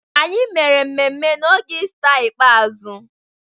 Anyị mere ememme n'oge Ista ikpeazụ.